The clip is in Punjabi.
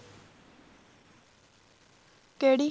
ਕਿਹੜੀ